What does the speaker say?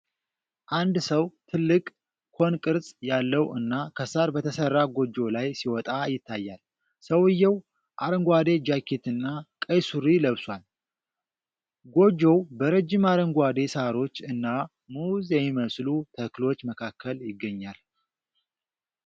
አንድ ሰው ትልቅ፣ ኮን ቅርጽ ያለው እና ከሳር በተሰራ ጎጆ ላይ ሲወጣ ይታያል። ሰውዬው አረንጓዴ ጃኬትና ቀይ ሱሪ ለብሷል። ጎጆው በረጅም አረንጓዴ ሳሮች እና ሙዝ የሚመስሉ ተክሎች መካከል ይገኛል።